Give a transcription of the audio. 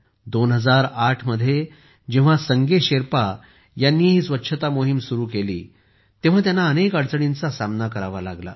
2008 मध्ये जेव्हा संगे शेरपा यांनी ही स्वच्छता मोहीम सुरू केली तेव्हा त्यांना अनेक अडचणींचा सामना करावा लागला